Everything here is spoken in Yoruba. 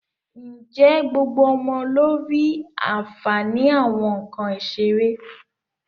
Ǹjẹ́ gbogbo ọmọ ló rí àǹfààní àwọn nǹkan ìṣeré?